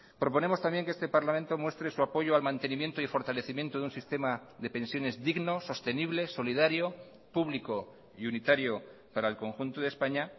proponemos también que este parlamento muestre su apoyo al mantenimiento y fortalecimiento de un sistema de pensiones digno sostenible solidario público y unitario para el conjunto de españa